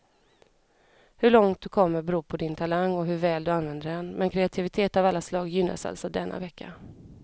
Hur långt du kommer beror på din talang och hur väl du använder den, men kreativitet av alla slag gynnas alltså denna vecka.